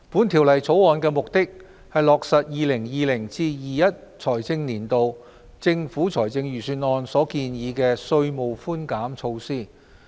《條例草案》的目的，是落實 2020-2021 財政年度政府財政預算案所建議的稅務寬減措施。